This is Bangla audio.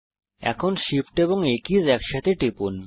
এখন Shift এন্ড A কিজ একসাথে টিপুন